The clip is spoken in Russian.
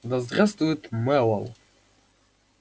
да здравствует мэллоу